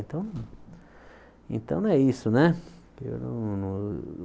Então, então né é isso, né?